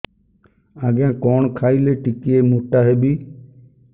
ଆଜ୍ଞା କଣ୍ ଖାଇଲେ ଟିକିଏ ମୋଟା ହେବି